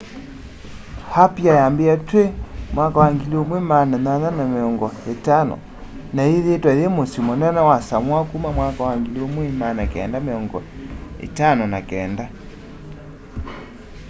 apia yambiie twi 1850s na yithiitwe yi musyi munene wa samoa kuma 1959